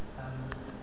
uthi eyam yeyam